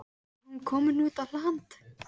Var hún komin út á land?